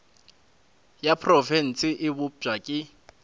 ya profense e bopša ke